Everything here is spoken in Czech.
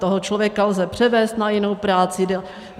Toho člověka lze převést na jinou práci.